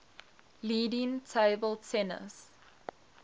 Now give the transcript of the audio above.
leading table tennis